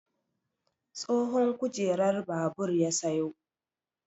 Tsohon kujerar babur ya sayo.